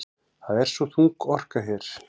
Það er svo þung orka hér.